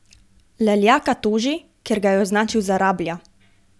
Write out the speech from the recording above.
Leljaka toži, ker ga je označil za rablja.